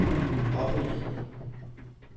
offentligheden